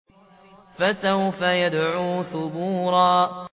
فَسَوْفَ يَدْعُو ثُبُورًا